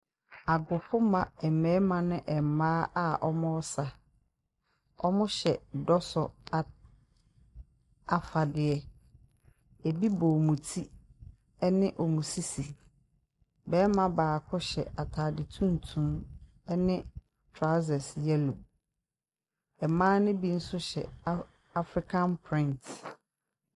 Agofomma mmarima ne mmaa a wɔresa. Wɔhyɛ dɔsɔ a afadeɛ. Ɛbi bɔ wɔn ti ne wɔn sisi. Barima baako hyɛ atade tuntum ne trousers yellow. Mmaa no bi nso hyɛ African Print.